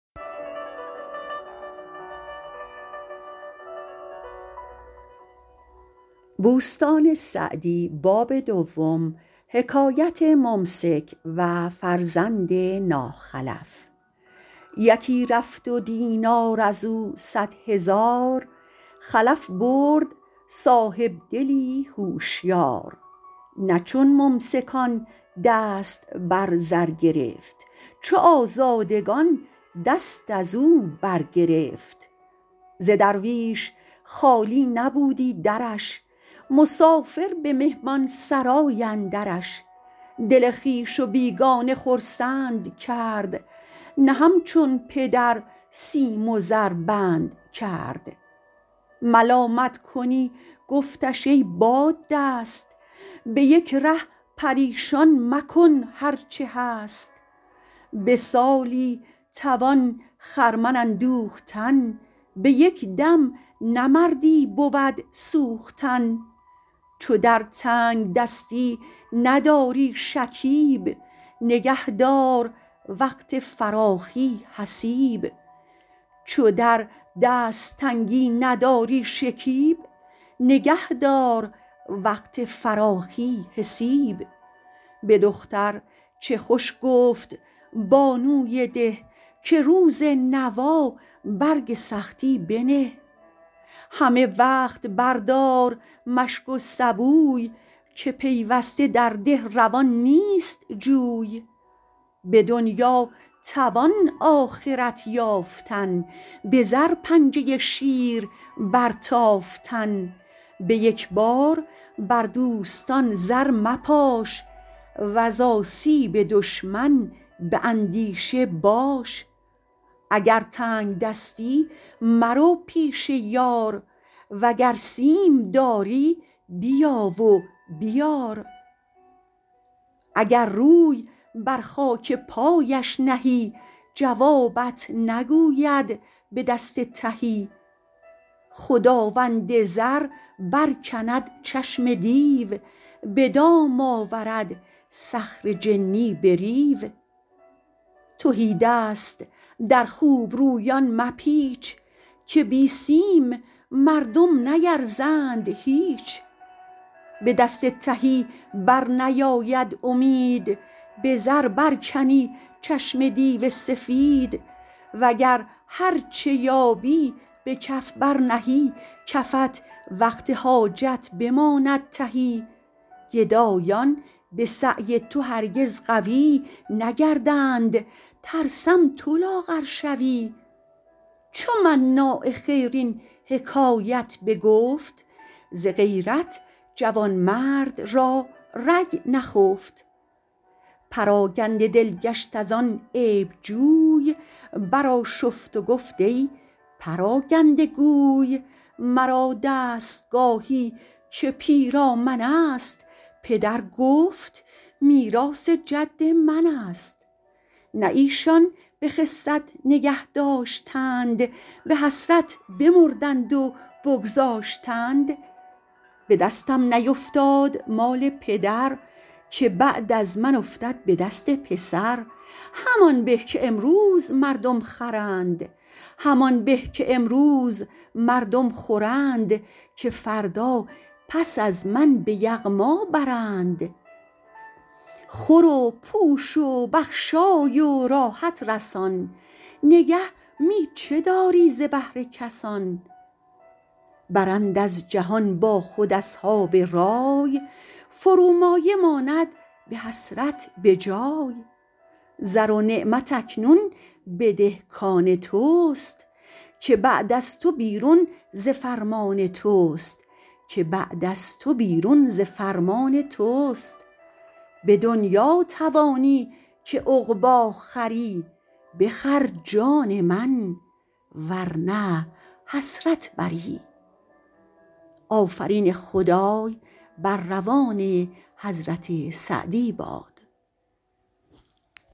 یکی رفت و دینار از او صد هزار خلف برد صاحبدلی هوشیار نه چون ممسکان دست بر زر گرفت چو آزادگان دست از او بر گرفت ز درویش خالی نبودی درش مسافر به مهمانسرای اندرش دل خویش و بیگانه خرسند کرد نه همچون پدر سیم و زر بند کرد ملامت کنی گفتش ای باددست به یک ره پریشان مکن هر چه هست به سالی توان خرمن اندوختن به یک دم نه مردی بود سوختن چو در تنگدستی نداری شکیب نگه دار وقت فراخی حسیب به دختر چه خوش گفت بانوی ده که روز نوا برگ سختی بنه همه وقت بر دار مشک و سبوی که پیوسته در ده روان نیست جوی به دنیا توان آخرت یافتن به زر پنجه شیر بر تافتن به یک بار بر دوستان زر مپاش وز آسیب دشمن به اندیشه باش اگر تنگدستی مرو پیش یار وگر سیم داری بیا و بیار اگر روی بر خاک پایش نهی جوابت نگوید به دست تهی خداوند زر بر کند چشم دیو به دام آورد صخر جنی به ریو تهی دست در خوبرویان مپیچ که بی سیم مردم نیرزند هیچ به دست تهی بر نیاید امید به زر برکنی چشم دیو سپید وگر هرچه یابی به کف بر نهی کفت وقت حاجت بماند تهی گدایان به سعی تو هرگز قوی نگردند ترسم تو لاغر شوی چو مناع خیر این حکایت بگفت ز غیرت جوانمرد را رگ نخفت پراکنده دل گشت از آن عیب جوی بر آشفت و گفت ای پراکنده گوی مرا دستگاهی که پیرامن است پدر گفت میراث جد من است نه ایشان به خست نگه داشتند به حسرت بمردند و بگذاشتند به دستم نیفتاد مال پدر که بعد از من افتد به دست پسر همان به که امروز مردم خورند که فردا پس از من به یغما برند خور و پوش و بخشای و راحت رسان نگه می چه داری ز بهر کسان برند از جهان با خود اصحاب رای فرومایه ماند به حسرت بجای زر و نعمت اکنون بده کآن توست که بعد از تو بیرون ز فرمان توست به دنیا توانی که عقبی خری بخر جان من ور نه حسرت بری